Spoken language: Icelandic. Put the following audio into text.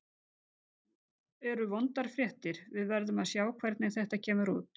Það eru vondar fréttir, við verðum að sjá hvernig þetta kemur út.